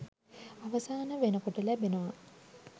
අවසාන වෙනකොට ලැබෙනවා.